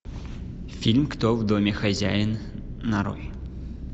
фильм кто в доме хозяин нарой